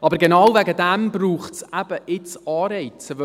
Aber genau deshalb braucht es eben jetzt Anreize.